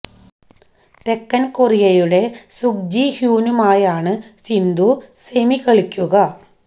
തെക്കൻ കൊറിയയുടെ Sung Ji ഹ്യൂനുമായാണ് സിന്ധു സെമി കളിക്കുക